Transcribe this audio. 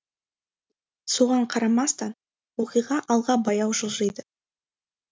соған қарамастан оқиға алға баяу жылжиды